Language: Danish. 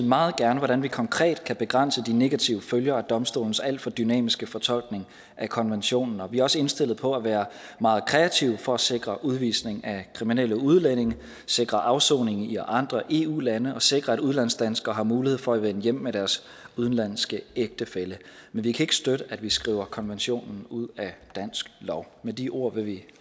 meget gerne hvordan vi konkret kan begrænse de negative følger af domstolens alt for dynamiske fortolkning af konventionen og vi er også indstillet på at være meget kreative for at sikre udvisning af kriminelle udlændinge sikre afsoning i andre eu lande og sikre at udlandsdanskere har mulighed for at vende hjem med deres udenlandske ægtefælle men vi kan ikke støtte at vi skriver konventionen ud af dansk lov med de ord vil vi